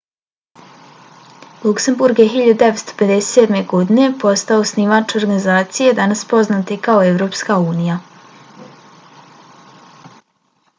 luksemburg je 1957. godine postao osnivač organizacije danas poznate kao evropska unija